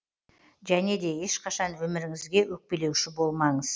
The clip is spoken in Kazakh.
және де ешқашан өміріңізге өкпелеуші болмаңыз